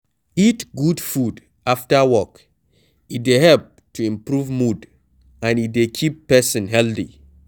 Eat good food after work e dey help to improve mood and e dey keep person healthy